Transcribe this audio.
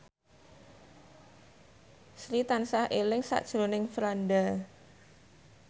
Sri tansah eling sakjroning Franda